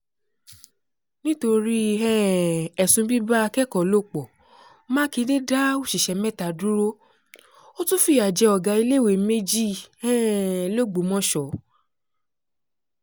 nítorí um ẹ̀sùn bíbá akẹ́kọ̀ọ́ lò pọ̀ mákindé dá òṣìṣẹ́ mẹ́ta dúró ó tún fìyà jẹ ọ̀gá iléèwé méjì um lọgbọ́mọso